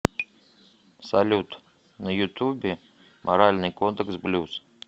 салют на ютубе моральный кодекс блюз